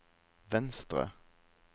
venstre